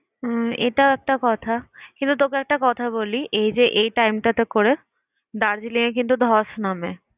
উম এটাও একটা কথা কিন্তু তোকে একটা কথা বলি, এই যে এই time টা তে করে দার্জিলিং এ কিন্তু ধস নামে।